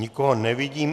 Nikoho nevidím.